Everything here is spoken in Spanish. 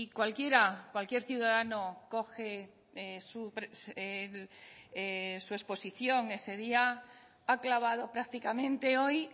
cualquiera cualquier ciudadano coge su exposición ese día ha clavado prácticamente hoy